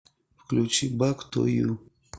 включи бэк ту ю